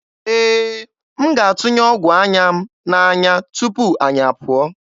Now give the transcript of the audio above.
Ee, m ga-atụnye ọgwụ anya m n'anya tupu anyị apụọ.